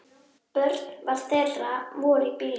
Börn þeirra voru í bílnum.